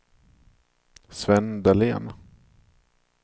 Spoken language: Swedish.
Sven Dahlén